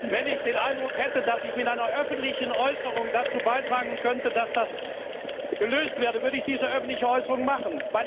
Wenn ich den Eindruck hätte, dass ich mit einer öffentlichen Äußerung dazu beitragen könnte, dass dieser Fall gelöst wir, würde ich diese öffentliche Äußerung machen.